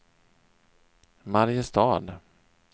Mariestad